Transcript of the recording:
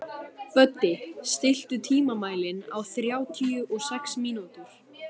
Böddi, stilltu tímamælinn á þrjátíu og sex mínútur.